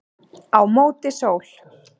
Á móti sól